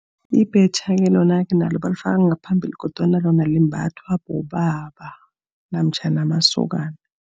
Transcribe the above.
Ibhetjha-ke lona-ke nalo balifaka ngaphambili, kodwana lona limbathwa bobaba, namtjhana amasokana.